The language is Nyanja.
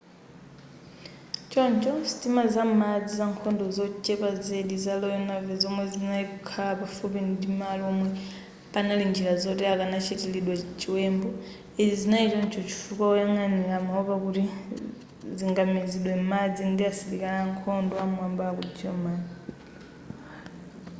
choncho sitima za m'madzi zankhondo zochepa zedi za royal navy zomwe zinali kukhala pafupi ndimalo omwe panali njira zoti akanachitiridwa chiwembu izi zinali choncho chifukwa woyang'anira amaopa kuti zingamizidwe m'madzi ndi asilikali ankhondo am'mwamba aku german